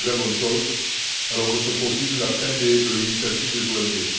C'est une très bonne chose alors que se profile la fin de l'initiative des OMD.